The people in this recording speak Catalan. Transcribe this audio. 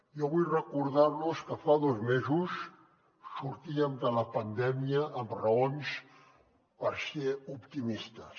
jo vull recordar los que fa dos mesos sortíem de la pandèmia amb raons per ser optimistes